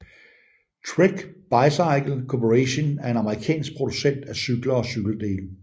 Trek Bicycle Corporation er en amerikansk producent af cykler og cykeldele